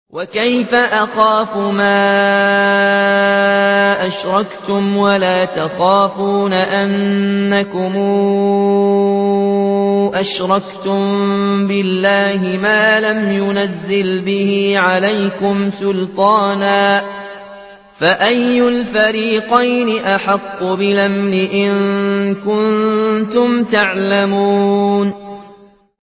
وَكَيْفَ أَخَافُ مَا أَشْرَكْتُمْ وَلَا تَخَافُونَ أَنَّكُمْ أَشْرَكْتُم بِاللَّهِ مَا لَمْ يُنَزِّلْ بِهِ عَلَيْكُمْ سُلْطَانًا ۚ فَأَيُّ الْفَرِيقَيْنِ أَحَقُّ بِالْأَمْنِ ۖ إِن كُنتُمْ تَعْلَمُونَ